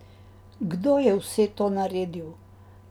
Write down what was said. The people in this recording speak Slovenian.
Kdo je vse to naredil?